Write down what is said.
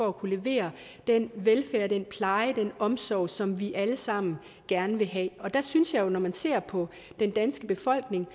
at kunne levere den velfærd og den pleje og omsorg som vi alle sammen gerne vil have der synes jeg jo når man ser på den danske befolkning